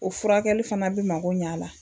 O furakɛli fana bi mago ɲ'a la